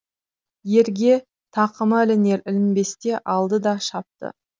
ерге тақымы ілінер ілінбесте алды да шапты